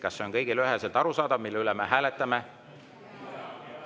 Kas see on kõigile üheselt arusaadav, mille üle me hääletame?